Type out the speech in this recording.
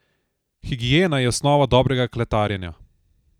Higiena je osnova dobrega kletarjenja.